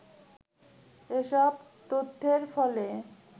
এসব তথ্যের ফলে